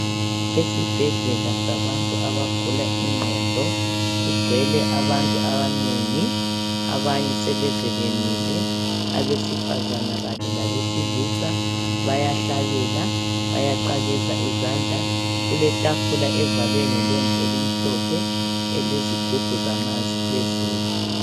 Esibhedlela sabantu abagula ingqondo kugcwele abantu abanengi. Abanye sebeze bemile , abesifazana kanye labesilisa. Bayahlabela ,bayaqakeza izandla . Kulethafula evalwe ngelembu elimhlophe elezigubhu zamanzi phezulu.